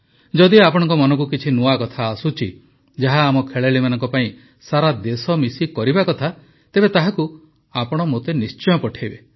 ଯଦି ଆପଣଙ୍କ ମନକୁ କିଛି ନୂଆ କଥା ଆସୁଛି ଯାହା ଆମ ଖେଳାଳିମାନଙ୍କ ପାଇଁ ସାରା ଦେଶ ମିଶି କରିବା କଥା ତେବେ ତାହାକୁ ଆପଣ ମୋତେ ନିଶ୍ଚୟ ପଠେଇବେ